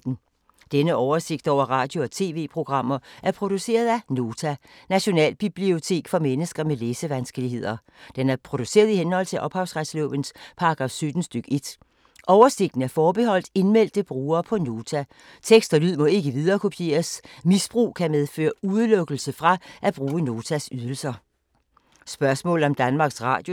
Denne oversigt over radio og TV-programmer er produceret af Nota, Nationalbibliotek for mennesker med læsevanskeligheder. Den er produceret i henhold til ophavsretslovens paragraf 17 stk. 1. Oversigten er forbeholdt indmeldte brugere på Nota. Tekst og lyd må ikke viderekopieres. Misbrug kan medføre udelukkelse fra at bruge Notas ydelser.